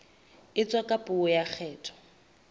etswa ka puo ya kgetho